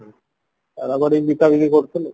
କରିକି ବିକା ବିକି କରୁଥିଲୁ